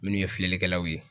Minnu ye filɛlikɛlaw ye.